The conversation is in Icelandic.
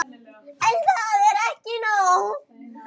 En það er ekki nóg.